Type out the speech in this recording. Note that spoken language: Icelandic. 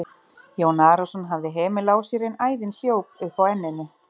Jón Arason hafði hemil á sér en æðin hljóp upp á enninu.